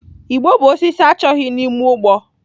Igbo bụ osisi achọghị n'ime ugbo.